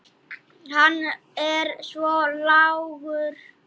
Hann er svo lágur.